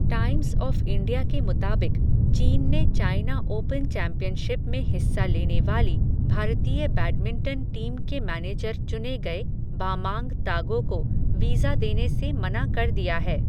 Times of India के मुताबिक, चीन ने चाइना ओपन चैंपियनशिप में हिस्सा लेने वाली, भारतीय बैडमिंटन टीम के मैनेजर चुने गए, बामांग तागो को वीज़ा देने से मना कर दिया है.